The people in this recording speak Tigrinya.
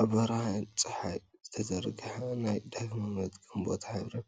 ኣብ ብርሃን ጸሓይ ዝተዘርግሐ ናይ ዳግመ-ምጥቃም ቦታ ሕብርን